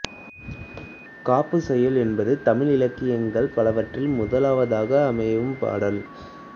காப்புச் செய்யுள் என்பது தமிழ் இலக்கியங்கள் பலவற்றில் முதலாவதாக அமையும் பாடல்